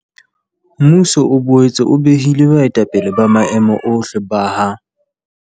Mmuso o boetse o behile baetapele ba maemo ohle ba ha